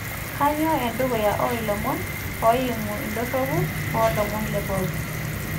kanyoo endukuya oo ilomon eimu indorropu oo lomon le bob